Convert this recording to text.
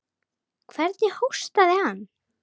Hvernig hóstaði hann.